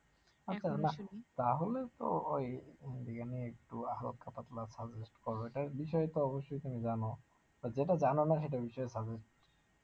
তাহলে তো ওই হিন্দি গান ই একটু suggest করাটার বিষয়ে তো অবশ্যই তুমি জানো, আর যেটা জানোনা সেটা বিষয়ে suggest